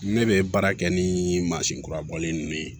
Ne bɛ baara kɛ ni mansin kurabɔlen ninnu ye